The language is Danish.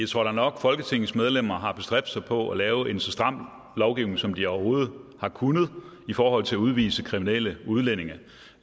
tror da nok at folketingets medlemmer har bestræbt sig på at lave en så stram lovgivning som de overhovedet har kunnet i forhold til at udvise kriminelle udlændinge